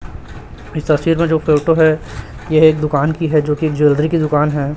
इस तस्वीर मे जो फोटो है यह एक दुकान की है जो कि ज्वैलरी की दुकान है।